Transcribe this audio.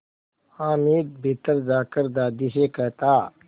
हामिद भीतर जाकर दादी से कहता